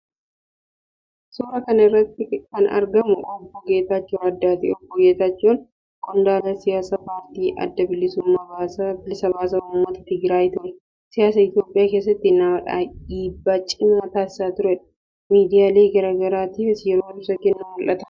Suuraa kana irratti kan argamu Obbo Geetaachoo Raddaati. Obbo Geetaachoon qondaala siyaasaa paartii Adda Bilisa Baasaa Uummata Tigiraay ture. Siyaasa Itiyoophiyaa keessatti nama dhiibbaa cimaa taasisaa tureedha. Miidiyaalee garaa garaatiif yeroo ibsa kennu mul'ata.